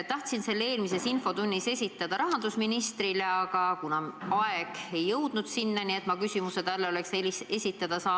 Tahtsin selle eelmises infotunnis esitada rahandusministrile, aga aeg sai enne otsa, kui ma sain talle küsimuse esitada.